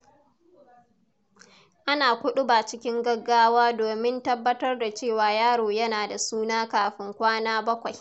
Ana kuɗuba cikin gaggawa domin tabbatar da cewa yaro yana da suna kafin kwana bakwai.